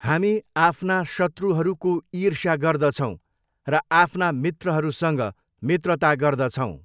हामी आफ्ना शत्रुहरूको ईष्र्या गर्दछौँ र आफ्ना मित्रहरूसँग मित्रता गर्दछौँ।